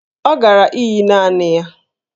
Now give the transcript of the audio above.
Ọ gara íyí naanị ya